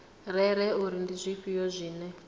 rere uri ndi zwifhio zwine